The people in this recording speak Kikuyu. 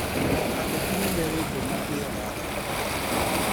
Ateti nĩmerĩtwo matĩye watho